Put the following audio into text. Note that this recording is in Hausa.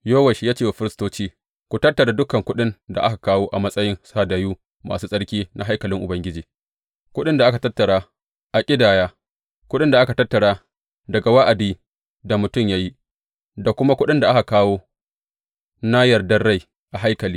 Yowash ya ce wa firistoci, Ku tattara dukan kuɗin da ake kawo a matsayin hadayu masu tsarki na haikalin Ubangiji, kuɗin da aka tattara a ƙidaya, kuɗin da aka tattara daga wa’adin da mutum ya yi, da kuma kuɗin da aka kawo na yardan rai a haikali.